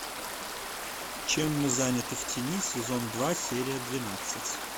чем мы заняты в тени сезон два серия двенадцать